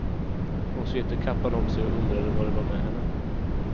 Hon svepte kappan om sig och undrade vad det var med henne.